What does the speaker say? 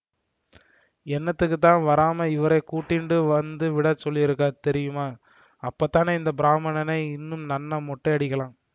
என்னத்துக்குத் தான் வராமே இவரை கூட்டிண்டு வந்து விட சொல்லியிருக்கா தெரியுமா அப்பத்தானே இந்த பிராமணனை இன்னும் நன்னா மொட்டையடிக்கலாம்